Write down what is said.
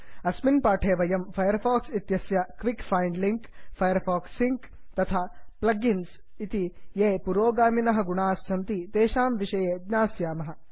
अस्मिन् पाठे वयं फैर् फाक्स् इत्यस्य quick find link quick find Firefox sync Firefox link तथा plug इन्स् प्लग् इन्स् ये पुरोगामिनः गुणाः सन्ति तेषां विषये ज्ञास्यामः